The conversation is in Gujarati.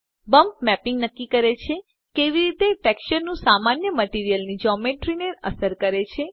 બમ્પ મેપિંગ નક્કી કરે છે કેવી રીતે ટેક્સચરનું સામાન્ય મટીરીઅલની જોમેટ્રી ને અસર કરે છે